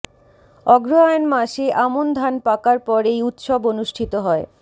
অগ্রহায়ণ মাসে আমন ধান পাকার পর এই উৎসব অনুষ্ঠিত হয়